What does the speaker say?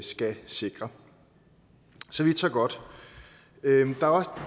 skal sikre så vidt så godt der er også